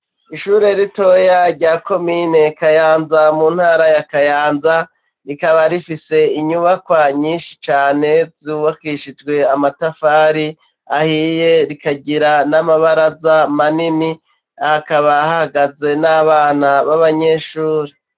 Ishure ritoya rya komine Kayanza, mu ntara ya Kayanza, rikaba rifise inyubakwa nyinshi cane zubakishijwe amatafari ahiye, rikagira n'amabaraza manini, hakaba hahagaze n'abana b'abanyeshure.